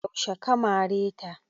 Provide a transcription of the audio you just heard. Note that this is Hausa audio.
Yaushe ka mare ta?